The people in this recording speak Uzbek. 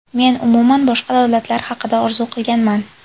Men umuman boshqa davlatlar haqida orzu qilganman.